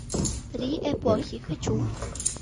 три эпохи хочу